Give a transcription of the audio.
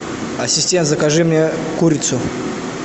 ассистент закажи мне курицу